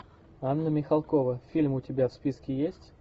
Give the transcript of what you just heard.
анна михалкова фильм у тебя в списке есть